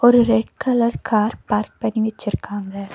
ஒரு red colour car park பண்ணி வெச்சிருக்காங்க.